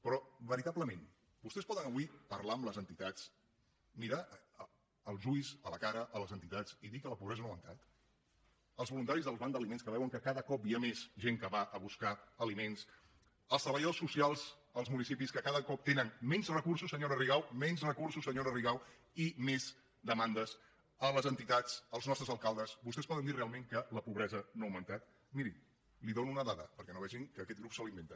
però veritablement vostès poden avui parlar amb les entitats mirar als ulls a la cara les entitats i dir que la pobresa no ha augmentat als voluntaris dels bancs d’aliments que veuen que cada cop hi ha més gent que va a buscar aliments als treballadors socials dels municipis que cada cop tenen menys recursos senyora rigau menys recursos senyora rigau i més demandes a les entitats als nostres alcaldes vostès els poden dir realment que la pobresa no ha augmentat miri li dono una dada perquè no vegin que aquest grup se l’inventa